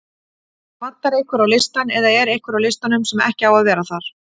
Vantar einhverja á listann eða er einhver á listanum sem ekki á að vera þar?